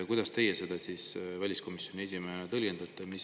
Kuidas teie seda väliskomisjoni esimehena tõlgendate?